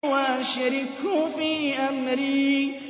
وَأَشْرِكْهُ فِي أَمْرِي